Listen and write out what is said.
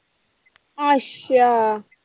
ਅੱਛਾ।